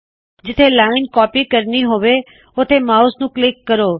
ਜਿੱਥੇ line copy ਕਰਨੀ ਹੋਵੇ ਉੱਥੇ ਮਾਉਸ ਨੂੰ ਕਲਿੱਕ ਕਰੋ